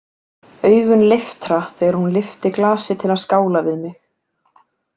Augun leiftra þegar hún lyfti glasi til að skála við mig.